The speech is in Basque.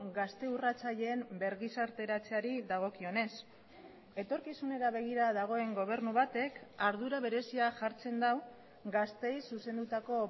gazte urratzaileen bergizarteratzeari dagokionez etorkizunera begira dagoen gobernu batek ardura berezia jartzen du gazteei zuzendutako